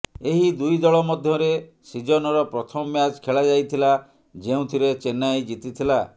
ଏହି ଦୁଇ ଦଳ ମଧ୍ୟରେ ସିଜନର ପ୍ରଥମ ମ୍ୟାଚ୍ ଖେଳାଯାଇଥିଲା ଯେଉଁଥିରେ ଚେନ୍ନାଇ ଜିତିଥିଲା